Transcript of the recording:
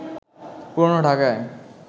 পুরনো ঢাকায়